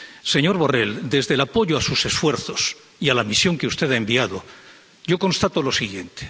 Señor Borrell, desde el apoyo a sus esfuerzos y a la misión que usted ha enviado yo constato lo siguiente.